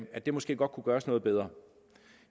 at det måske godt kunne gøres noget bedre